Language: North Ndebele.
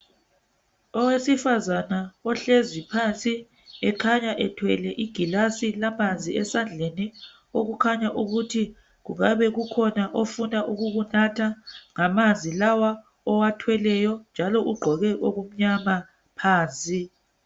Owesifazana ohlezi phansi ekhanya ethwele igilazi lamanzi esandleni okukhanya ukuthi kungabe kukhona ifuna ukukunatha ngamanzi lawa owathweleyo njalo ugqoke okumnyama phansi.